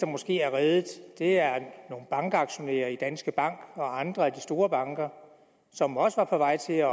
måske er reddet er nogle bankaktionærer i danske bank og andre af de store banker som også var på vej til at